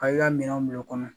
Ka i ka minɛnw minɛ u kɔnɔ